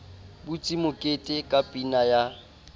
butse mokete ka pina ya